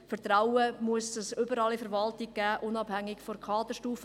Vertrauen muss es überall in der Verwaltung geben, unabhängig von der Kaderstufe.